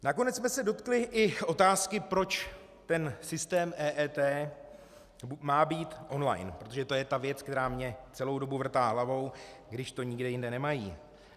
Nakonec jsme se dotkli i otázky, proč ten systém EET má být online, protože to je ta věc, která mi celou dobu vrtá hlavou, když to nikde jinde nemají.